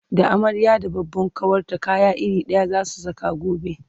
da amarya da babban kawarta kaya iri ɗaya zasu Saka gobe